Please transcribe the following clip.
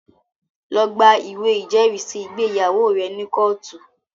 Lọ gba ìwé ìjẹ́rìísí ìgbéyàwó rẹ ní kóòtù!